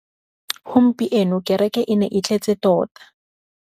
Gompieno kêrêkê e ne e tletse tota.